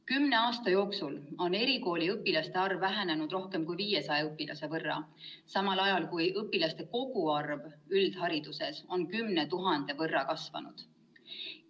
Kümne aasta jooksul on erikooliõpilaste arv vähenenud rohkem kui 500 õpilase võrra, samal ajal kui õpilaste koguarv üldhariduses on 10 000 võrra kasvanud.